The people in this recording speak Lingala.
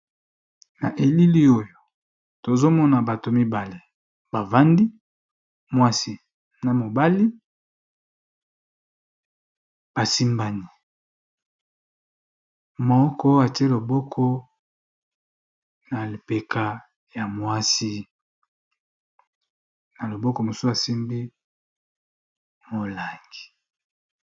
na elili oyo tozomona bato mibale bavandi mwasi na mobali basimbani moko atie loboko na lpeka ya mwasi na loboko mosu asimbi molangi